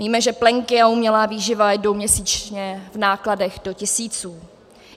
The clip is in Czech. Víme, že plenky a umělá výživa jdou měsíčně v nákladech do tisíců.